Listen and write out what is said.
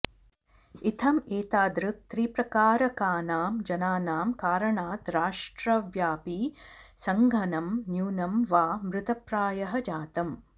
इत्थम् एतादृक् त्रिप्रकारकानां जनानां कारणात् राष्ट्रव्यापी संङ्घनं न्यूनं वा मृतप्रायः जातम्